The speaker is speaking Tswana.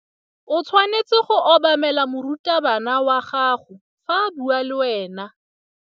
O tshwanetse go obamela morutabana wa gago fa a bua le wena.